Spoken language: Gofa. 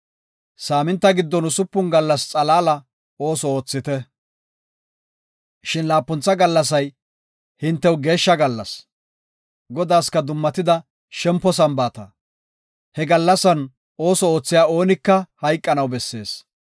Saaminta giddon usupun gallasa xalaalan ooso oothite; shin laapuntha gallasay hintew geeshsha gallas; Godaaska dummatida shempo Sambaata. He gallasan ooso oothiya oonika hayqanaw bessees.